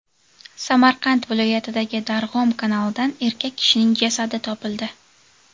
Samarqand viloyatidagi Darg‘om kanalidan erkak kishining jasadi topildi.